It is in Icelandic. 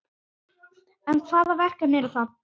En hvaða verkefni eru það?